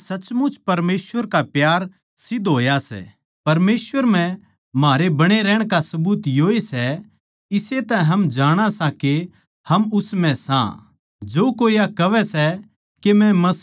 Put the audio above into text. हे प्यारे बिश्वासी भाईयो मै थमनै कोए नया हुकम न्ही पर वोए पुराणा हुकम लिखूँ सूं जो शुरु तै था यो वाए हुकम सै जिस ताहीं थमनै मसीह म्ह बिश्वास करते बखत सुण्या था